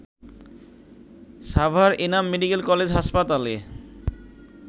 Savar Enam medical college হাসপাতালে